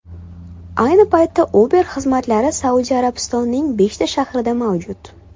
Ayni paytda Uber xizmatlari Saudiya Arabistonining beshta shahrida mavjud.